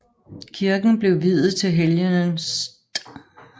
Kirken blev viet til helgenen St